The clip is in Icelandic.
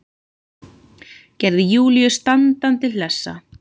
Gerði Júlíu standandi hlessa.